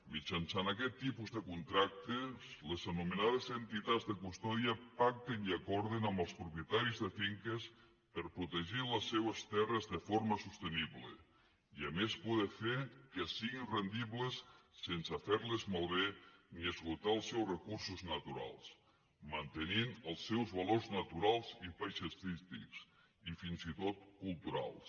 mitjançant aquest tipus de contractes les anomenades entitats de custòdia pacten i acorden amb els propietaris de finques per protegir les seves terres de forma sostenible i a més poder fer que siguin rendibles sense fer les malbé ni esgotar els seus recursos naturals mantenint els seus valors naturals i paisatgístics i fins i tot culturals